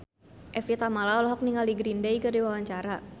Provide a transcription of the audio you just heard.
Evie Tamala olohok ningali Green Day keur diwawancara